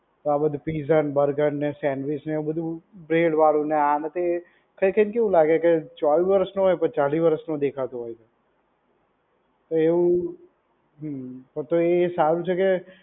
તો આપડે તો પિઝા, બર્ગર ને સેન્ડવીચ ને એવું બ્રેડ વાળું ને આ ને તે ખાઈ ખાઈ ને કેવું લાગે કે ચોવીશ વર્ષનું હોય તો ચાલ્લીસ વર્ષનો દેખાતું હોય. તો એવું હમ્મ તો તો એ સારું છે કે